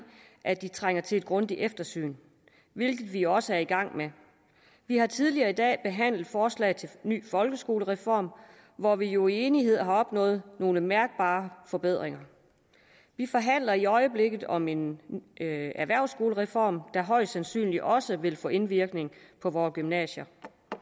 at de trænger til et grundigt eftersyn hvilket vi også er i gang med vi har tidligere i dag behandlet forslag til ny folkeskolereform hvor vi jo i enighed har opnået nogle mærkbare forbedringer vi forhandler i øjeblikket om en erhvervsskolereform der højst sandsynligt også vil få indvirkning på vore gymnasier